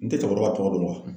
N tɛ cɛkɔrɔba ka tɔgɔ dɔn